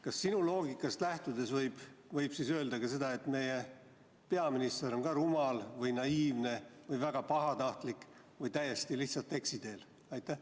Kas sinu loogikast lähtudes võib öelda seda, et meie peaminister on rumal või naiivne või väga pahatahtlik või lihtsalt täiesti eksiteel?